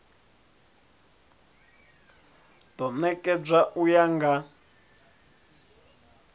do nekedzwa u ya nga